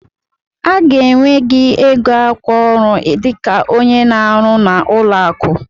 A ga-enwe gị ego akwa ọrụ dịka onye na-arụ n'ụlọ akụ.